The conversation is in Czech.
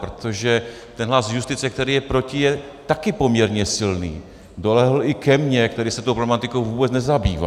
Protože ten hlas justice, který je proti, je také poměrně silný, dolehl i ke mně, který se tou problematikou vůbec nezabývá.